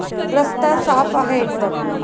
रस्ता साफ आहे. एकदम.